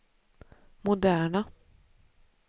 moderna